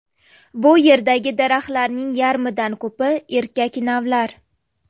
Bu yerdagi daraxtlarning yarimidan ko‘pi erkak navlar.